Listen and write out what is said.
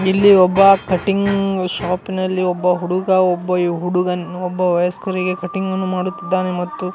ಇಲ್ಲಿ ಒಬ್ಬ cutting shop ನಲ್ಲಿ ಒಬ್ಬ ಹುಡುಗಾ ಒಬ್ಬ ಹುಡುಗನ್ ಒಬ್ಬ ವಯಸ್ಕರಿಗೆ ಕಟಿಂಗ್ ಅನ್ನು ಮಾಡುತ್ತಿದ್ದಾನೆ ಮತ್ತು--